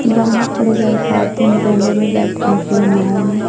जाना पड़ेगा एक दिन डोंगे में बैठने के लिए नाँव में--